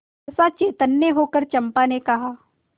सहसा चैतन्य होकर चंपा ने कहा